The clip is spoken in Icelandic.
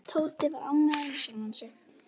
Tóti var ánægður með sjálfan sig.